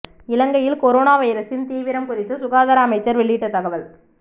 இலங்கையில் கொரோனா வைரஸின் தீவிரம் குறித்து சுகாதார அமைச்சர் வெளியிட்ட தகவல்